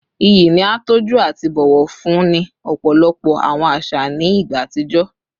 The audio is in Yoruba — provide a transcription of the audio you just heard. Iyi ni a tọju ati bọwọ fun ni ọpọlọpọ awọn aṣa ni igba atijọ